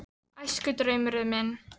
Æskudraumurinn minn?